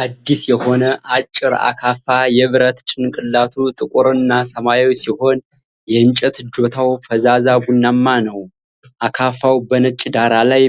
አዲስ የሆነ አጭር አካፋ ። የብረት ጭንቅላቱ ጥቁርና ሰማያዊ ሲሆን የእንጨት እጀታው ፈዛዛ ቡናማ ነው። አካፋው በነጭ ዳራ ላይ